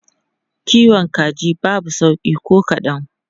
Kiwon kaji babu sauƙi ko kadan.